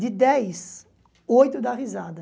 De dez, oito dá risada.